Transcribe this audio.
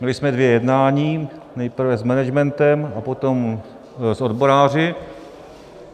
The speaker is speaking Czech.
Měli jsme dvě jednání, nejprve s managementem a potom s odboráři.